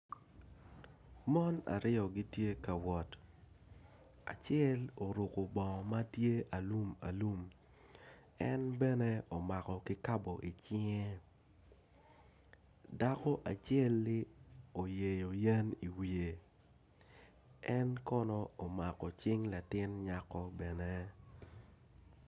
Mon aryo gitye ka wot acel oruko bongo matye alum alum en bene omako kikapo i cinge dako acel oyeyo yen i wiye en kono omako cing latin nyako bene.